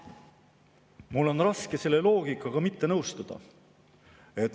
Mul on raske selle loogikaga mitte nõustuda.